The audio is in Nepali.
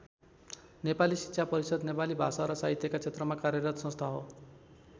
नेपाली शिक्षा परिषद् नेपाली भाषा र साहित्यका क्षेत्रमा कार्यरत संस्था हो।